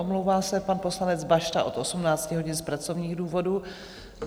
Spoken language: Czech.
Omlouvá se pan poslanec Bašta od 18 hodin z pracovních důvodů.